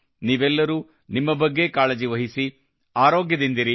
ನೀವೆಲ್ಲರೂ ನಿಮ್ಮ ಬಗ್ಗೆ ಕಾಳಜಿ ವಹಿಸಿ ಆರೋಗ್ಯದಿಂದಿರಿ